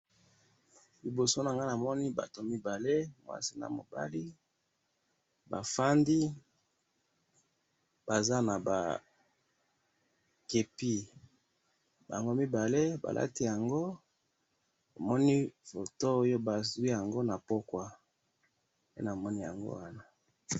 Liboso nanga namoni batu mibale mwasi na mobali, bafandi Baza naba kepiye, bango mibali balati yango, namoni foto oyo bazwi yango napokwa, nde namoni yango wana.